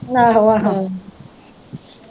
ਆਹੋ ਆਹੋ